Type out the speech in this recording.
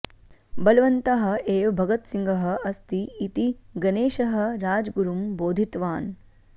बलवन्तः एव भगतसिंहः अस्ति इति गणेशः राजगुरुं बोधितवान्